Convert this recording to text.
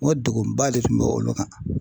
N ko degunba de tun bɛ olu kan.